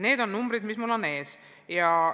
Need on numbrid, mis mul ees on.